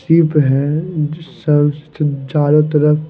सीप है सब चारों तरफ।